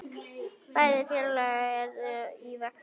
Bæði félög eru í vexti.